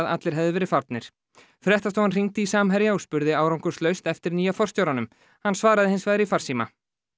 allir hefðu verið farnir fréttastofan hringdi í Samherja og spurði árangurslaust eftir nýja forstjóranum hann svaraði hins vegar í farsíma